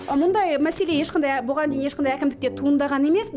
мұндай мәселе ешқандай бұған дейін ешқандай әкімдікте туындаған емес